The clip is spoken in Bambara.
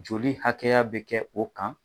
Joli hakɛya bɛ kɛ o kan.